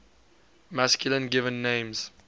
masculine given names